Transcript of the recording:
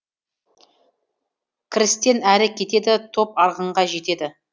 кірістен әрі кетеді топ арғынға жетеді